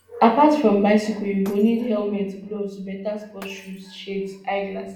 apart from bicycle you go need helmet gloves beta sports shoes shades eye glasses